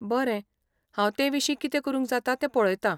बरें, हांव तेविशीं कितें करूंक जाता तें पळयता.